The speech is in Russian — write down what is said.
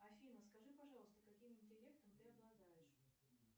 афина скажи пожалуйста каким интеллектом ты обладаешь